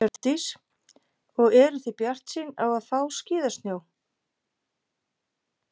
Hjördís: Og eruð þið bjartsýn á að fá skíðasnjó?